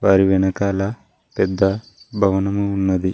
వారి వెనకాల పెద్ద భవనం ఉన్నది.